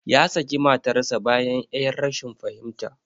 Ya saki matarsa ​​bayan 'yar rashin fahimta.